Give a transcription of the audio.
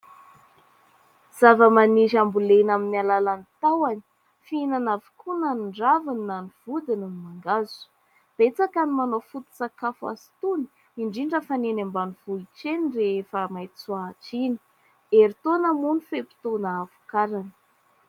Zavamaniry ambolena amin'ny alalan'ny tahony ,fihinana avokoa na ny raviny na ny vodiny ny mangahazo. Betsaka ny manao foto-tsakafo azy itony, indrindra fa ny eny ambanivohitra eny rehefa maitsoahitra iny ; herintaona moa ny fe-potoana ahavokarany.